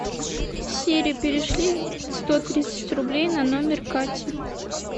сири перешли сто тридцать рублей на номер кати